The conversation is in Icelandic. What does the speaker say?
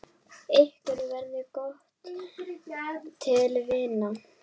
Okkur varð gott til vina.